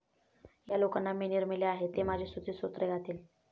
ह्या लोकांना मी निर्मिले आहे. ते माझी स्तुतिस्तोत्रे गातील.